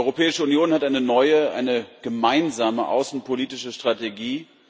Die Europäische Union hat eine neue, eine gemeinsame außenpolitische Strategie.